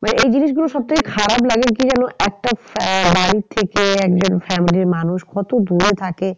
মানে এই জিনিস গুলো সব থেকে খারাপ লাগে কি জানো একটা বাড়ির থেকে একজন family র মানুষ কত দূরে থাকে